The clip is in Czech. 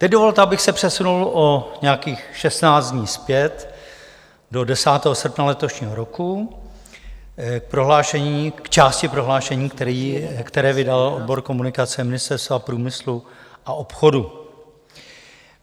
Teď dovolte, abych se přesunul o nějakých 16 dní zpět do 10. srpna letošního roku k části prohlášení, které vydal odbor komunikace Ministerstva průmyslu a obchodu.